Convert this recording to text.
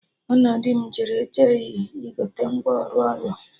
Mụ na di m jere Delhi igote ngwa ọrụ ụlọ